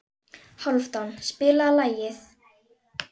Hálfdán, spilaðu lag.